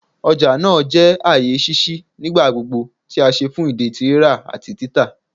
Ọja naa jẹ aaye ṣiṣi nigbagbogbo ti a ṣe fun idi ti rira ati tita